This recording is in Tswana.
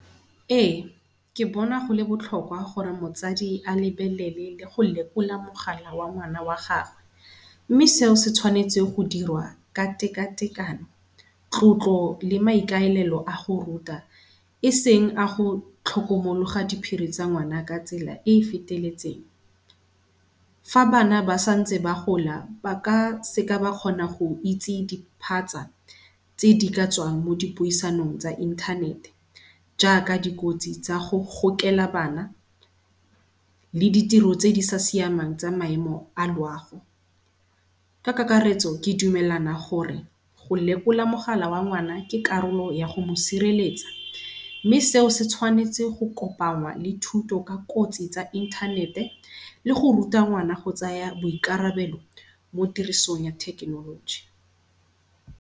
Ee ke bona go le botlhokwa gore motsadi a lebelele le go lekola mogala wa ngwana wa gagwe, mme seo se tshwanetswe go dirwa ka tekatekano, tlotlo le maikailelo a go ruta eseng ago tlhokomologa diphiri tsa ngwana, ka tsela e e feteletseng. Fa bana ba santse ba gola ba ka seka ba kgona go itsi di phatsa tse di ka tswang mo dipuisanong tsa inthanete, jaaka dikotsi tsago gokela bana le ditiro tse di sa siamang tsa maemo a loago. Ka kakaretso ke dumelana gore go lekola mogala wa ngwana ke karolo yago mo sireletsa mme seo se tshwanetse go kopangwa le thuto ka kotsi tsa inthanete le go ruta ngwana go tsaya boikarabelo mo tirisong ya thekenoloji.